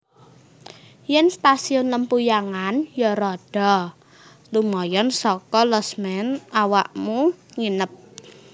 Yen Stasiun Lempuyangan yo rodo lumayan soko losmen awakmu nginep